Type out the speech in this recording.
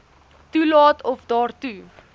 toelaat of daartoe